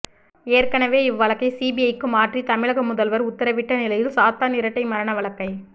ஏற்கனெவே இவ்வழக்கை சிபிஐக்கு மாற்றி தமிழக முதல்வர் உத்தரவிட்ட நிலையில் சாத்தான் இரட்டை மரண வழக்கை